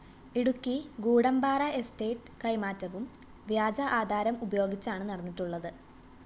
Idukki Goodampara estate കൈമാറ്റവും വ്യാജ ആധാരം ഉപയോഗിച്ചാണ് നടന്നിട്ടുള്ളത്